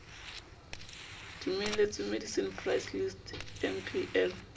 dumeletsweng medicine price list mpl